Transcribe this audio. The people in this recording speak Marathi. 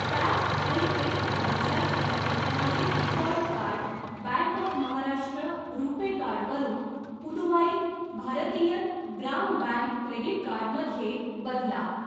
टॅप आणि पे पद्धतीसाठी माझे default card bank of Maharashtra RuPay card वरून Puduvai Bharathiar Grama bank credit card मध्ये बदला.